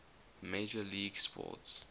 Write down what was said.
major league sports